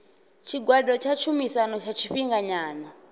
tshigwada tsha tshumisano tsha tshifhinganyana